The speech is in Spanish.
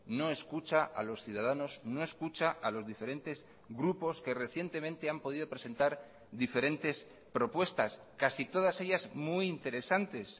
no escucha a los ciudadanos no escucha a los diferentes grupos que recientemente han podido presentar diferentes propuestas casi todas ellas muy interesantes